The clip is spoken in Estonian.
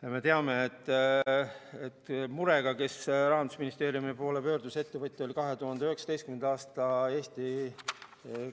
Me teame, et ettevõtja, kes Rahandusministeeriumi poole murega pöördus, oli 2019. aastal Eesti